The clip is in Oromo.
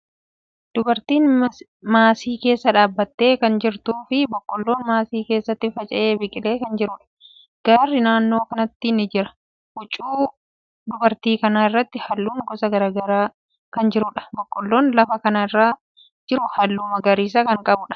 Dubartiin maasii keessa dhaabbattee kan jirtuu fi boqqoollon maasii keessatti faca'ee biqilee kan jiruudha. Gaarri naannoo kanatti ni jira. Huccuu dubartii kanaa irratti haallun gosa garagaraa kan jiruudha. Boqoollon lafa kana irra jiru haalluu magariisa kan qabuudha.